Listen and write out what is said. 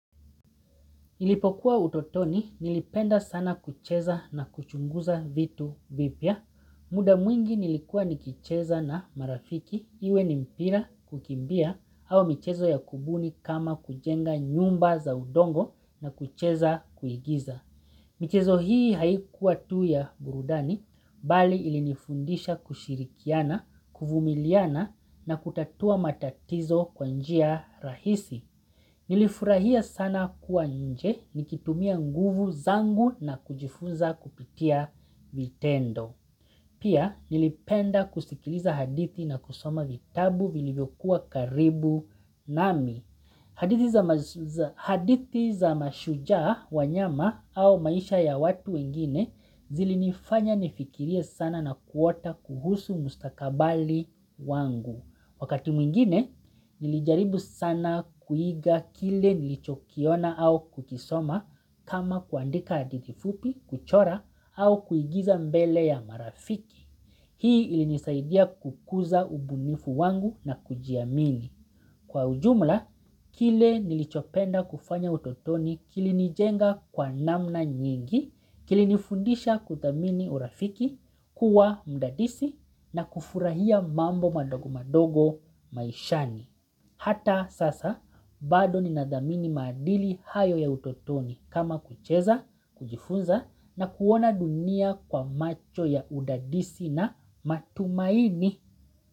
Ilipokuwa utotoni nilipenda sana kucheza na kuchunguza vitu vipya. Muda mwingi nilikuwa nikicheza na marafiki iwe nimpira kukimbia au michezo ya kubuni kama kujenga nyumba za udongo na kucheza kuigiza. Michezo hii haikuwa tu ya burudani bali ilinifundisha kushirikiana, kuvumiliana na kutatua matatizo kwanjia rahisi. Nilifurahia sana kuwa nje nikitumia nguvu zangu na kujifunza kupitia vitendo. Pia nilipenda kusikiliza hadithi na kusoma vitabu vilivyokuwa karibu nami. Hadithi za mashujaa wanyama au maisha ya watu wengine zilinifanya nifikiria sana na kuota kuhusu mustakabali wangu. Wakati mwingine, nilijaribu sana kuiga kile nilichokiona au kukisoma kama kuandika hadithi fupi, kuchora au kuigiza mbele ya marafiki. Hii ilinisaidia kukuza ubunifu wangu na kujiamini. Kwa ujumla, kile nilichopenda kufanya utotoni kilini jenga kwa namna nyingi, kilini fundisha kudhamini urafiki, kuwa mudadisi na kufurahia mambo madogo madogo maishani. Hata sasa, bado ninadhamini madili hayo ya utotoni kama kucheza, kujifunza na kuona dunia kwa macho ya udadisi na matumaini.